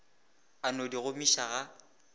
a no di gomiša ga